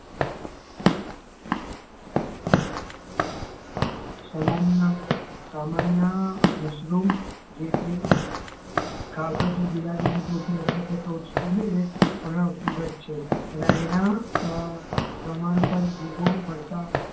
સમાન ના સામાન્ય મશરૂમ જે કે ખાવછો બિલાડી ની ટોપ ની અંદર એ પણ ફૂગ જ છે અને એના પ્રમાણ મળતા